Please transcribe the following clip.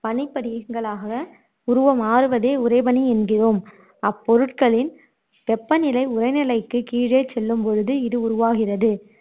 பனிப்படிகங்களாக உருவம் மாறுவதையே உறைபனி எங்கிறோம் அப்பொருட்களின் வெப்பநிலை உறைநிலைக்குக் கீழே செல்லும் பொழுது இது உருவாகிறது